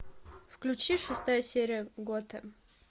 включи шестая серия готэм